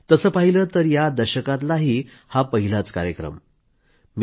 तसं पाहिलं तर या दशकातलाही हा पहिला कार्यक्रम आहे